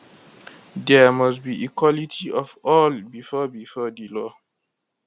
dia must be equality of all bifor bifor di law